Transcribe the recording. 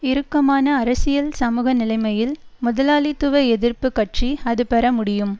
இறுக்கமான அரசியல் சமூக நிலைமையில் முதலாளித்துவ எதிர்ப்பு கட்சி அது பெற முடியும்